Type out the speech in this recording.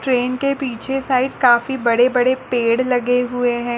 Train के पीछे side काफ़ी बड़े-बड़े पेड़ लगे हुए हैं।